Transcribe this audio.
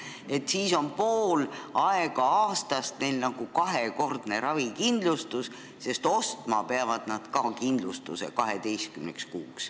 Neil on siis pool aega aastast kahekordne ravikindlustus, sest nad peavad selle kindlustuse ostma 12 kuuks.